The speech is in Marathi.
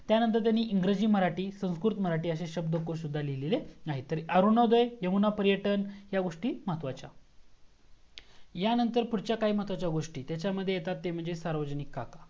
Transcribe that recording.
त्यानंतर त्यांनी इंग्रजी मराठी संस्कृत मराठी असे शब्दकोश सुद्धा लिहिलेले आहेत तर अरुणोदय यमुना पर्यटन ह्या गोस्टी महत्वाच्या ह्या नंतर पुढच्या काही महत्वाच्या गोस्टी तच्यामध्ये येतात ते म्हणजे सार्वजनिक काका